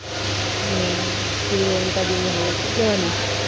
હમ શ્રીલંકા જેવી હાલત થય જવાની છે